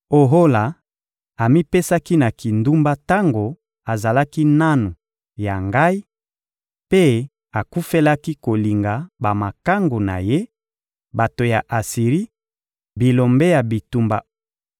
Ohola amipesaki na kindumba tango azalaki nanu ya Ngai mpe akufelaki kolinga bamakangu na ye, bato ya Asiri, bilombe ya bitumba